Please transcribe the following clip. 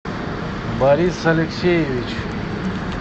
борис алексеевич